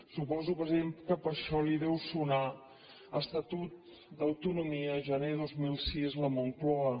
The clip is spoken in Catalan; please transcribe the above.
suposo president que per això li deu sonar estatut d’autonomia gener dos mil sis la moncloa